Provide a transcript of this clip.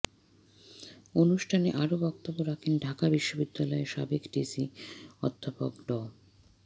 অনুষ্ঠানে আরও বক্তব্য রাখেন ঢাকা বিশ্ববিদ্যালয়ের সাবেক ভিসি অধ্যাপক ড